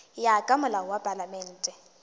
ya ka molao wa palamente